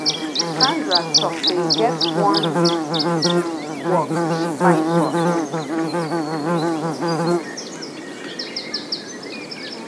sandra talk say e get wan work she find for um me